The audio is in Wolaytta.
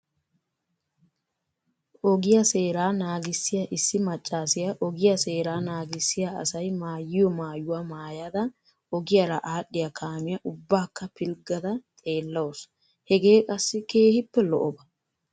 Ogiya seeraa naagissiya issi maccaasiya ogiya seeraa naagissiya asay maayiyo maayuwa maayada ogiyara aadhdhiya kaamiya ubbaakka pilggada xeellawusu. Heegee qassi keehippe lo'oba.